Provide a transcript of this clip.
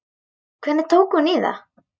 Hvernig tók hún í það?